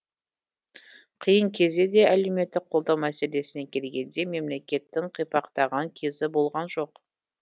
қиын кезде де әлеуметтік қолдау мәселесіне келгенде мемлекеттің қипақтаған кезі болған жоқ